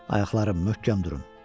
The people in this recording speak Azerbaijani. Ayaqlarım, möhkəm durun.